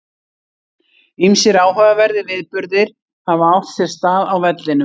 Ýmsir áhugaverðir viðburðir hafa átt sér stað á vellinum.